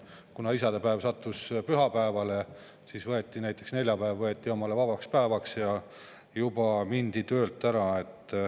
Kuna isadepäev sattus pühapäevale, kas võeti näiteks neljapäev omale vabaks ja mindi juba töölt ära.